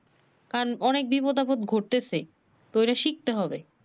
কারণ অনেক বিপদ আপদ ঘটতেছে তো অগোনা শিখতে হবে।